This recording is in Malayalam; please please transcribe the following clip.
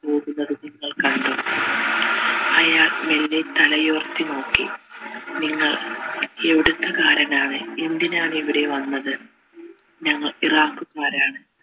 കണ്ടു അയാൾ മെല്ലെ തലയുയർത്തി നോക്കി നിങ്ങൾ എവിടുത്തെ കാരനാണ് എന്തിനാണ് ഇവിടെ വന്നത് ഞങ്ങൾ മാരാണ്